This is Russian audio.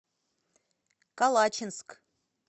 калачинск